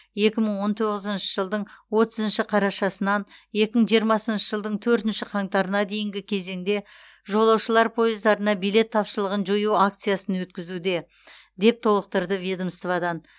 екі мың он тоғызыншы жылдың отызыншы қарашасынан екі мың жиырмасыншы жылдың төртінші қаңтарына дейінгі кезеңде жолаушылар пойыздарына билет тапшылығын жою акциясын өткізуде деп толықтырды ведомстводан